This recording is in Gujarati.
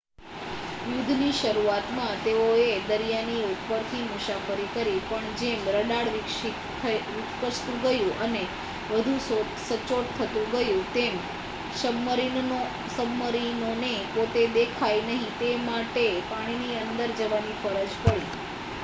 યુદ્ધની શરૂઆતમાં તેઓએ દરિયાની ઉપરથી મુસાફરી કરી પણ જેમ રડાર વિકસતું ગયું અને વધુ સચોટ થતું ગયું તેમ સબ્મરીનોને પોતે દેખાય નહીં તે માટે પાણીની અંદર જવાની ફરજ પડી